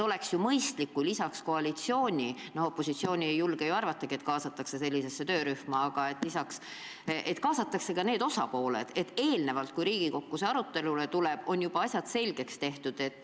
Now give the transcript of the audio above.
Oleks ju mõistlik, kui lisaks koalitsioonile – opositsiooni kaasamist ei julge ju arvatagi – kaasataks ka need teised osapooled, et enne arutelu Riigikogusse jõudmist oleksid asjad juba selgeks räägitud.